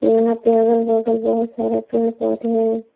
यहां पे अगल बगल बहोत सारा पेड़ पौधे है।